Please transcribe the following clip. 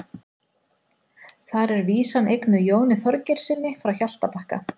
þar er vísan eignuð jóni þorgeirssyni frá hjaltabakka